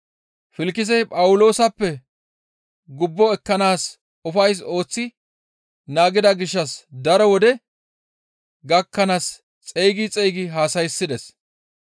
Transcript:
Filkisey Phawuloosappe gubbo ekkanaas ufays ooththi naagida gishshas daro wode gakkanaas xeygi xeygi haasayssides.